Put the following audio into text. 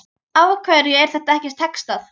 Af hverju er þetta ekki textað?